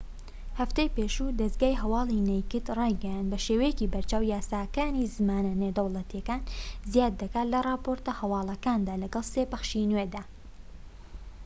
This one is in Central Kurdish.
هەفتەی پێشوو دەزگای هەوالی نەیکد رایگەیاند بە شێوەیەکی بەرچاو یاساکانی زمانە نێودەوڵەتیەکانی زیاد دەکات لە راپۆرتە هەوالەکاندا لەگەڵ سێ پەخشی نوێدا